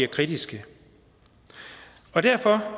kritiske og derfor